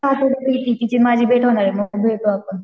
तिचीन माझी भेट होती मग भेटू आपण.